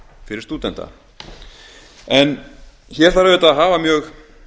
fyrir stúdenta hér þarf auðvitað að hafa mjög